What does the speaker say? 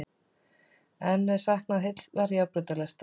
Enn er saknað heillar járnbrautalestar